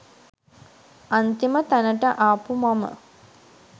අන්තිම තැනට ආපු මම